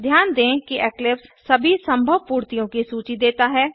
ध्यान दें कि इक्लिप्स सभी संभव पूर्तियों की सूची देता है